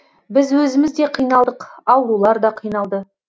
біз өзіміз де қиналдық аурулар да қиналды